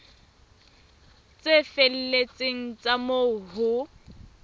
tse felletseng tsa moo ho